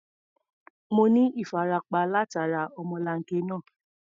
Mo ní ìfarapa látara ọmọlanke náà.